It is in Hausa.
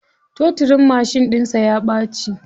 Totirin mashin ɗinsa ya ɓaci.